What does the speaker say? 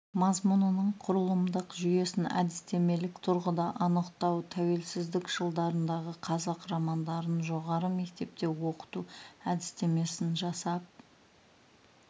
мазмұнының құрылымдық жүйесін әдістемелік тұрғыда анықтау тәуелсіздік жылдарындағы қазақ романдарын жоғары мектепте оқыту әдістемесін жасап